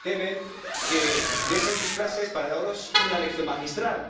Se temen que dejen sus clases para darnos una lección magistral.